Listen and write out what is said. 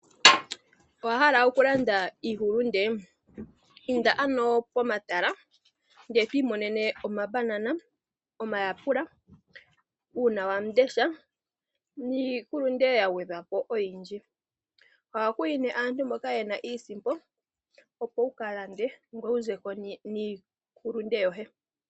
Owa hala okulanda iihulunde? Inda ano pomatala ndele to imonene omambanana, omayapula, uunawamundesha niihulunde ya gwedhwa po oyindji. Ohaku yi nee aantu mboka ye na iisimpo opo wu ka lande, ngoye wu ze ko niihulunde yoye.